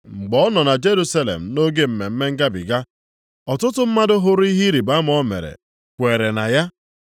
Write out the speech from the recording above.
Mgbe ọ nọ na Jerusalem nʼoge Mmemme Ngabiga, ọtụtụ mmadụ hụrụ ihe ịrịbama o mere kweere na ya.